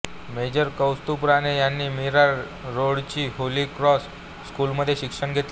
major Kaustubh Rane यांनी मीरा रोडच्या holy cross स्कूलमध्ये शिक्षण घेतले